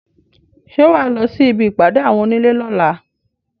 Ṣé wà á lọ sí ibi ìpàdé àwọn onílé lọ́la?